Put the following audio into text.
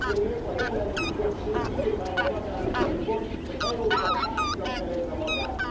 Önök, a jelenlegi többség, vindikálja magának a jogot, hogy Európa Pártnak nevezze magát.